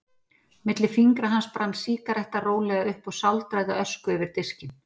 Milli fingra hans brann sígaretta rólega upp og sáldraði ösku yfir diskinn.